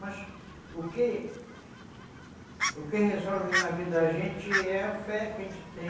Mas o que o que resolve na vida da gente é a fé que a gente tem.